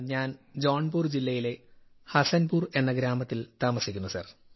ഞാൻ ജോൺപുർ ജില്ലയിലെ ഹസൻപുർ എന്ന ഗ്രാമത്തിൽ താമസിക്കുന്നു സർ